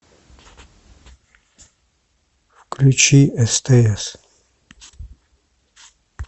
включи стс